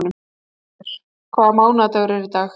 Málmfríður, hvaða mánaðardagur er í dag?